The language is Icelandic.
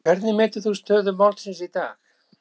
Hvernig metur þú stöðu málsins í dag?